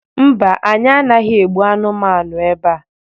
mba, anyi anaghi egbu anumanu ebea